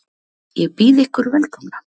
Ég býð ykkur velkomna.